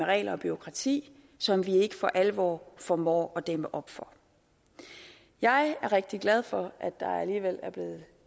regler og bureaukrati som vi ikke for alvor formår at dæmme op for jeg er rigtig glad for at der alligevel